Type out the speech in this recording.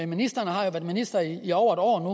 ministeren har jo været minister i over et år